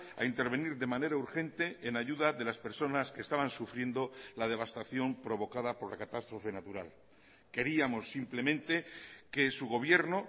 a intervenir de manera urgente en ayuda de las personas que estaban sufriendo la devastación provocada por la catástrofe natural queríamos simplemente que su gobierno